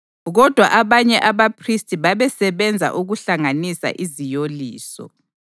Kodwa abanye abaphristi babesebenza ukuhlanganisa iziyoliso.